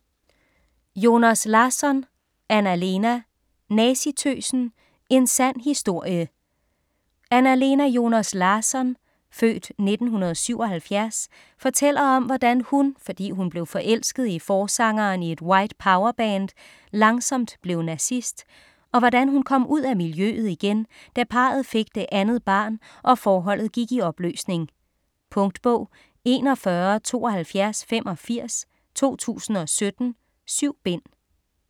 Joners Larsson, Anna-Lena: Nazitøsen: en sand historie Anna-Lena Joners Larsson (f. 1977) fortæller om hvordan hun, fordi hun blev forelsket i forsangeren i et White Power-band, langsomt blev nazist, og hvordan hun kom ud af miljøet igen, da parret fik det andet barn og forholdet gik i opløsning. Punktbog 417285 2017. 7 bind.